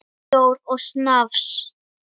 Bjór og snafs.